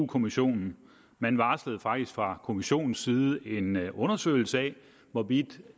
kommissionen man varslede faktisk fra kommissionens side en undersøgelse af hvorvidt